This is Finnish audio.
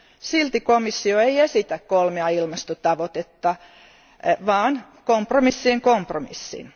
Silti komissio ei esitä kolmea ilmastotavoitetta, vaan kompromissien kompromissin.